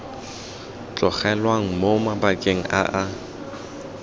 tlogelwang mo mabakeng a a